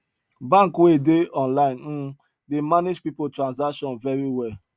bank wey dey online um dey manage people transaction very well